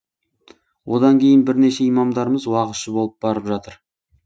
одан кейін бірнеше имамдарымыз уағызшы болып барып жатыр